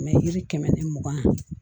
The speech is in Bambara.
yiri kɛmɛ ni mugan